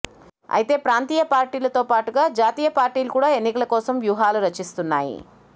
అయితే ప్రాంతీయ పార్టీలతో పాటుగా జాతీయ పార్టీలు కూడా ఎన్నికల కోసం వ్యూహాలు రచిస్తున్నాయి